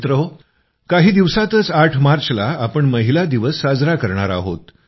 मित्रहो काही दिवसांतच 8 मार्चला आपण महिला दिवस साजरा करणार आहोत